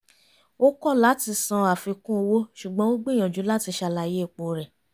ó kọ̀ láti san àfikún owó ṣùgbọ́n ó gbìyànjú láti ṣàlàyé ipo rẹ̀